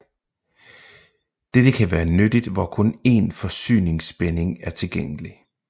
Dette kan være nyttigt hvor kun én forsyningsspænding er tilgængelig